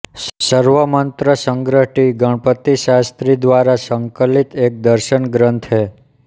Sarvamatasangraha T Ganapatishastri द्वारा संकलित एक दर्शन ग्रन्थ है